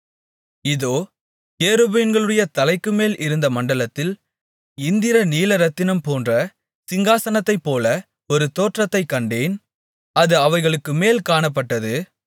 இதோ கேருபீன்களுடைய தலைக்குமேல் இருந்த மண்டலத்தில் இந்திர நீலரத்தினம்போன்ற சிங்காசனத்தைபோல ஒரு தோற்றத்தைக் கண்டேன் அது அவைகளுக்குமேல் காணப்பட்டது